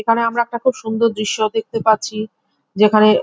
এখানে আমরা একটা খুব সুন্দর দৃশ্য দেখতে পাচ্ছি যেখানে--